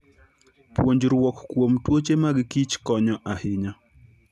Puonjruok kuom tuoche magkich konyo ahinya.